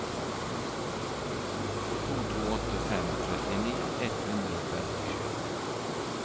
to to åtte fem trettini ett hundre og femtisju